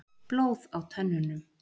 Blóð á tönnunum.